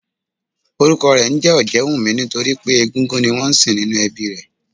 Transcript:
Orúkọ rè ńjé Òjéwùmí nítorípé egúngún ni wón nsìn nínú ẹbí i rè